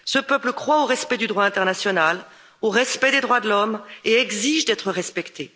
Ce peuple croit au respect du droit international, au respect des droits de l'homme et exige d'être respecté.